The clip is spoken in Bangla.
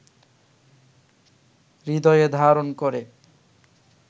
হৃদয়ে ধারণ করে